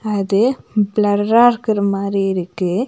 அது பிலெர்ரா இருக்குற மாதிரி இருக்கு.